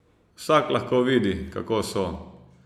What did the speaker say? Vsak lahko vidi, kako so.